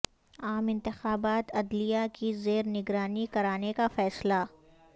عام انتخابات عدلیہ کی زیر نگرانی کرانے کا فیصلہ